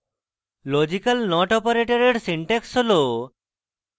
logical not operator syntax হল: